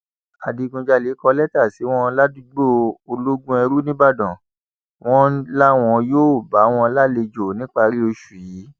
adigunjalè kọ lẹtà sí wọn ládùúgbò ológunèrun nìbàdàn wọn làwọn yóò bá wọn lálejò níparí oṣù yìí